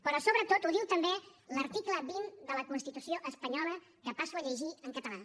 però sobretot ho diu també l’article vint de la constitució espanyola que passo a llegir en català